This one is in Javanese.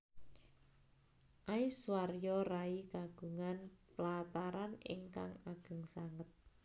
Aishwarya Rai kagungan plataran ingkang ageng sanget